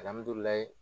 Alihamudulila